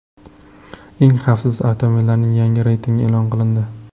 Eng xavfsiz avtomobillarning yangi reytingi e’lon qilindi.